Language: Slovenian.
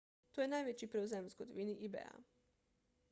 to je največji prevzem v zgodovini ebaya